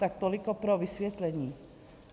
Tak toliko pro vysvětlení.